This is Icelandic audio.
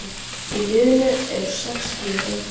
Í liðinu eru sex skíðagöngumenn